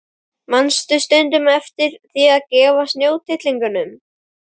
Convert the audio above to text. Manstu stundum eftir því að gefa snjótittlingunum?